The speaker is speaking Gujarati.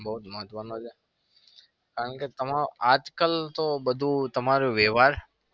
બઉ જ મહત્વ નો છે. કારણ કે આજકાલ તો બધું તમારો વ્યવહાર